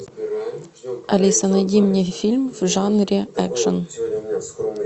алиса найди мне фильм в жанре экшн